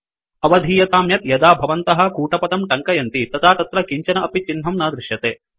अवधीयतां यत् यदा भवन्तः कूटपदं टङ्कयन्ति तदा तत्र किञ्चन अपि चिह्नं न दृश्यते